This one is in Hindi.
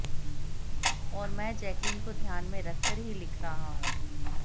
और मैं जैकलीन को ध्यान में रखकर ही लिख रहा हूं